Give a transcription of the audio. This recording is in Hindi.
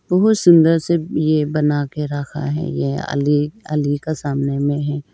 बहोत सुंदर से ये बना के रखा है यह अली अली का सामने में है।